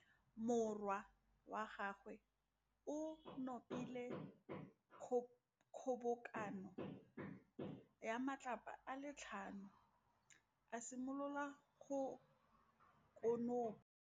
Morwa wa gagwe o nopile kgobokanô ya matlapa a le tlhano, a simolola go konopa.